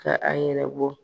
Ka a yɛrɛ bɔ.